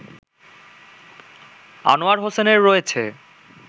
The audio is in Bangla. আনোয়ার হোসেনের রয়েছে